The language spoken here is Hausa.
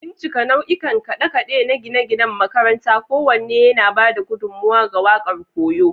Bincika nau'ikan kade-kade na gine-ginen makaranta, kowanne yana ba da gudummawa ga waƙar koyo.